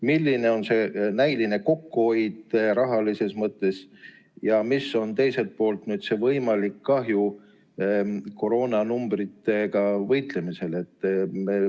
Milline on see näiline kokkuhoid rahalises mõttes ja, teiselt poolt, milline on võimalik kahju koroonaga võitlemisel?